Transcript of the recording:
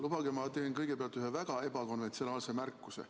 Lubage, ma teen kõigepealt ühe väga ebakonventsionaalse märkuse.